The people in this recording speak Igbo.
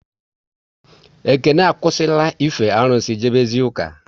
Ekene akwụsị la ife arụsị, jebe zie ụka